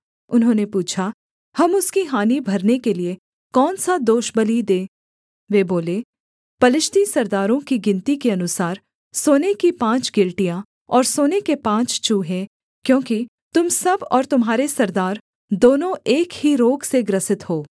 उन्होंने पूछा हम उसकी हानि भरने के लिये कौन सा दोषबलि दें वे बोले पलिश्ती सरदारों की गिनती के अनुसार सोने की पाँच गिलटियाँ और सोने के पाँच चूहे क्योंकि तुम सब और तुम्हारे सरदार दोनों एक ही रोग से ग्रसित हो